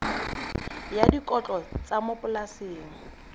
ya dikotlo tsa mo polaseng